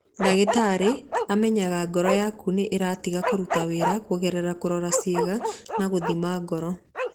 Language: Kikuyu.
Ndagĩtarĩ amenyaga ngoro yaku nĩ ĩratiga kũruta wĩra kũgerera kũrora ciĩga na gũthima ngoro